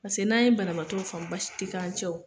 Paseke n'an ye banabaatɔw faamu baasi tɛ k'an cɛ